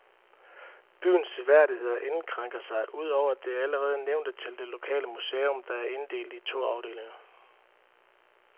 Byens seværdigheder indskrænker sig, ud over det allerede nævnte, til det lokale museum, der er inddelt i to afdelinger.